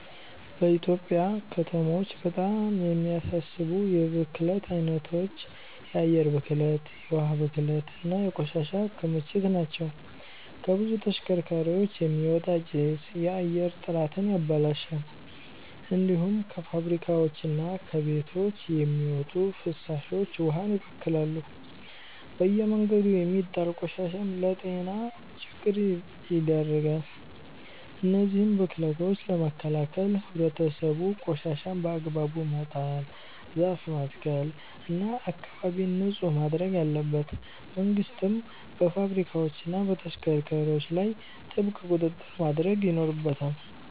በኢትዮጵያ ከተሞች በጣም የሚያሳስቡ የብክለት አይነቶች የአየር ብክለት፣ የውሃ ብክለት እና የቆሻሻ ክምችት ናቸው። ከብዙ ተሽከርካሪዎች የሚወጣ ጭስ የአየር ጥራትን ያበላሻል። እንዲሁም ከፋብሪካዎችና ከቤቶች የሚወጡ ፍሳሾች ውሃን ይበክላሉ። በየመንገዱ የሚጣል ቆሻሻም ለጤና ችግር ይዳርጋል። እነዚህን ብክለቶች ለመከላከል ህብረተሰቡ ቆሻሻን በአግባቡ መጣል፣ ዛፍ መትከል እና አካባቢን ንጹህ ማድረግ አለበት። መንግስትም በፋብሪካዎችና በተሽከርካሪዎች ላይ ጥብቅ ቁጥጥር ማድረግ ይኖርበታል።